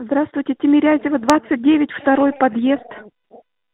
здравствуйте тимирязева двадцать девять второй подъезд